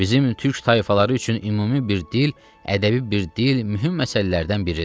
Bizim türk tayfaları üçün ümumi bir dil, ədəbi bir dil mühüm məsələlərdən biridir.